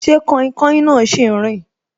Ṣé kainkain náà si n rin